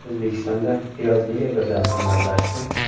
O‘zbekistonda piyoz nega birdan qimmatlashdi?